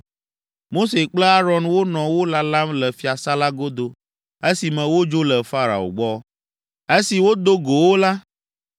Mose kple Aron wonɔ wo lalam le fiasã la godo esi me wodzo le Farao gbɔ. Esi wodo go wo la,